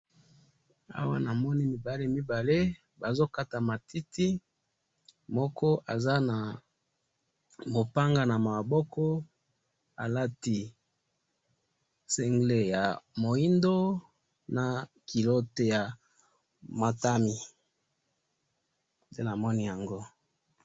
Na moni matu mibale bazo kata matiti na moko aza na mopanga alati mopila ya motane na kabutula ya moindo.